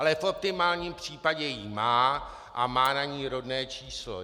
Ale v optimálním případě ji má a má na ní rodné číslo.